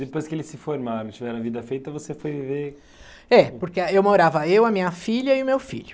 Depois que eles se formaram, tiveram a vida feita, você foi viver... É, porque eu morava eu, a minha filha e o meu filho.